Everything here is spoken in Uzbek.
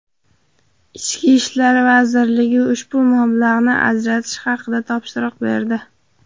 Ichki ishlar vazirligi ushbu mablag‘ni ajratish haqida topshiriq berdi.